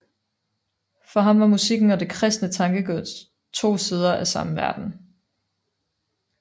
For ham var musikken og det kristne tankegods to sider af samme verden